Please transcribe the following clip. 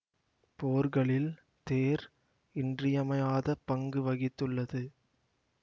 போர்களில் தேர் இன்றியமையாத பங்கு வகித்துள்ளது